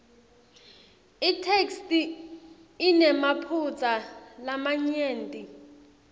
itheksthi inemaphutsa lamanyenti